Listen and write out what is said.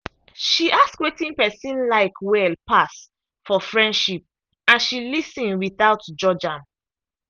she ask wetin person like well pass for friendship and she lis ten without judge am.